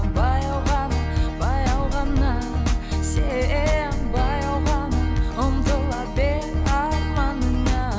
баяу ғана баяу ғана сен баяу ғана ұмтыла бер арманыңа